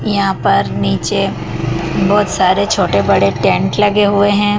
यहां पर नीचे बहोत सारे छोटे बड़े टेंट लगे हुए हैं।